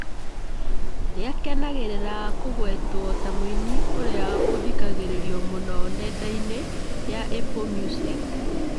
Nĩakenagĩrĩra kũgwetwo ta mũini ũrĩa ũthikagĩrĩrio mũno nenda inĩ ya Apple Music